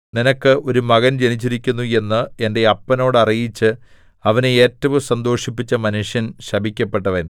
നിനക്ക് ഒരു മകൻ ജനിച്ചിരിക്കുന്നു എന്ന് എന്റെ അപ്പനോട് അറിയിച്ച് അവനെ ഏറ്റവും സന്തോഷിപ്പിച്ച മനുഷ്യൻ ശപിക്കപ്പെട്ടവൻ